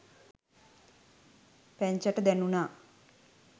පැංචට දැණුනා